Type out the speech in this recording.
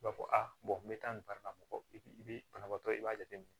I b'a fɔ a n bɛ taa nin baara la mɔgɔ bi banabaatɔ i b'a jateminɛ